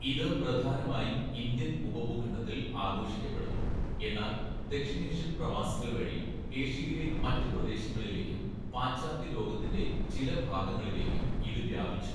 ഇത് പ്രധാനമായും ഇന്ത്യൻ ഉപഭൂഖണ്ഡത്തിൽ ആഘോഷിക്കപ്പെടുന്നു, എന്നാൽ ദക്ഷിണേഷ്യൻ പ്രവാസികൾ വഴി ഏഷ്യയിലെ മറ്റ് പ്രദേശങ്ങളിലേക്കും പാശ്ചാത്യ ലോകത്തിന്റെ ചില ഭാഗങ്ങളിലേക്കും ഇത് വ്യാപിച്ചു.